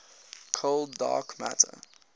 cold dark matter